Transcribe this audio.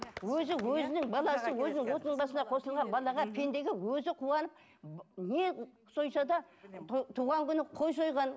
өзі өзінің баласы өзінің отының басына қосылған балаға пендеге өзі қуанып не сойса да туған күні қой сойған